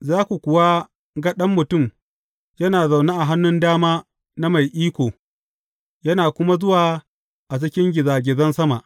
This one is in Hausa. Za ku kuwa ga Ɗan Mutum yana zaune a hannun dama na Mai Iko, yana kuma zuwa a cikin gizagizan sama.